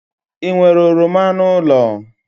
Ị nwere oroma n'ụlọ?